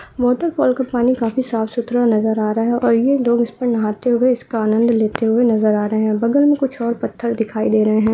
Waterfall का पानी काफी साफ-सुथरा नजर आ रहा है और ये लोग उसको नहाते हुए इसका आनंद लेते हुए नजर आ रहे है बगल में कुछ और पत्थर दिखाई दे रहे है।